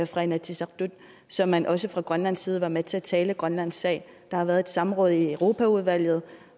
fra inatsisartut så man også fra grønlands side var med til at tale grønlands sag der har været et samråd i europaudvalget